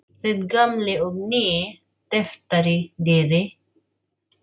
Þinn gamli og nýi tyftari, Diddi.